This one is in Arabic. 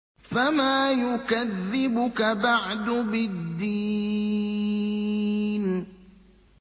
فَمَا يُكَذِّبُكَ بَعْدُ بِالدِّينِ